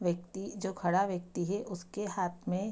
व्यक्ति जो खड़ा व्यक्ति है उसके हाथ में --